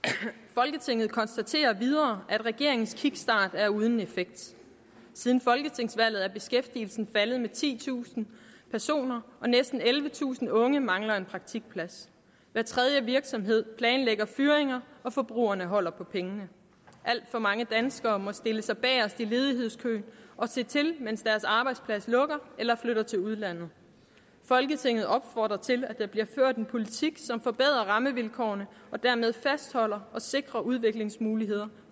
folketinget konstaterer videre at regeringens kickstart er uden effekt siden folketingsvalget er beskæftigelsen faldet med titusind næsten ellevetusind unge mangler en praktikplads hver tredje virksomhed planlægger fyringer og forbrugerne holder på pengene alt for mange danskere må stille sig bagerst i ledighedskøen og se til mens deres arbejdsplads lukker eller flytter til udlandet folketinget opfordrer til at der bliver ført en politik som forbedrer rammevilkårene og dermed fastholder og sikrer udviklingsmuligheder